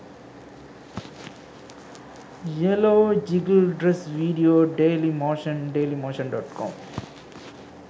yellow jiggle dress video dailymotion dailymotion.com